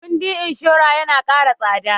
Kuɗin inshora yana ƙara tsada